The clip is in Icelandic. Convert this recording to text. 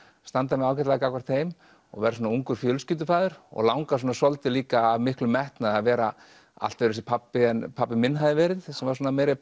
standa mig ágætlega gagnvart þeim verð ungur fjölskyldufaðir langar svolítið líka af miklum metnaði að vera allt öðruvísi pabbi en pabbi minn hafði verið sem var svona meiri